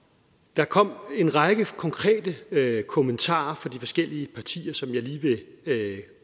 der kom en række konkrete kommentarer fra de forskellige partier som jeg lige vil